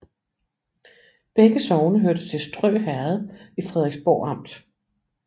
Begge sogne hørte til Strø Herred i Frederiksborg Amt